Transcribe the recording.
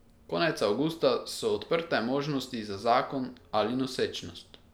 Konec avgusta so odprte možnosti za zakon ali nosečnost.